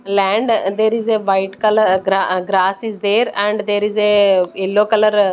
land aa there is a white colour a aa gra grass is there and there is a yellow colour aa --